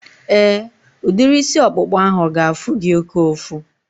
Éè, udiri isi ọkpụkpa ahu ga-afụ gị oké ụfụ